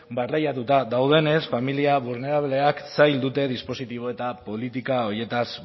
barreiatuta daudenez familia zaurgarriak zail dute dispositibo eta politika horietaz